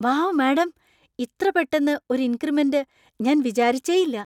Wow madam! ഇത്ര പെട്ടന്ന് ഒരു ഇക്രിമെന്‍റ് ഞാൻ വിചാരിച്ചേയില്ല!